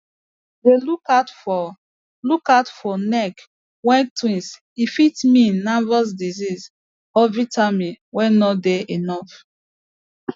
dey look out for look out for neck way twist e fit mean nervous disease or vitamin way no dey enough